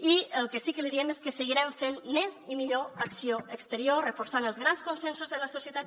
i el que sí que li diem és que seguirem fent més i millor acció exterior reforçant els grans consensos de la societat